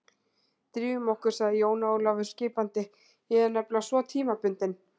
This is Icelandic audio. Drífum okkur, sagði Jón Ólafur skipandi, ég er nefnilega svo tímabundinn.